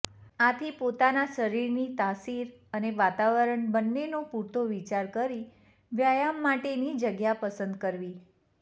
આથી પોતાના શરીરની તાસીર અને વાતવરણ બન્નેનો પુરતો વિચાર કરી વ્યાયામ માટેની જગ્યા પસંદ કરવી